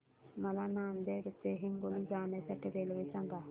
मला नांदेड ते हिंगोली जाण्या साठी रेल्वे सांगा